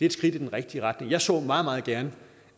et skridt i den rigtige retning jeg så meget meget gerne